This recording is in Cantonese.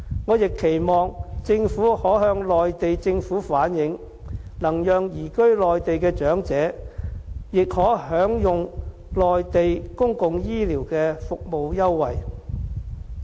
我亦期望政府可向內地政府反映，能讓移居內地的長者亦可享用內地公共醫療的服務優惠。